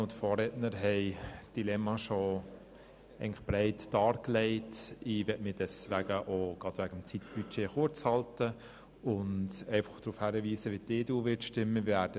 Ich möchte mich deswegen auch mit Blick auf das Zeitbudget kurz halten und darauf hinweisen, wie die EDU abstimmen wird.